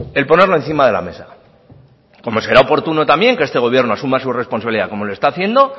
el ponerlo encima de la mesa como será oportuno también que este gobierno asuma su responsabilidad como lo está haciendo